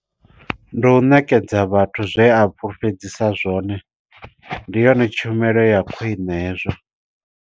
Ndi u ṋekedza vhathu zwe a fhulufhedzisa zwone, ndi yone tshumelo ya khwine hezwo.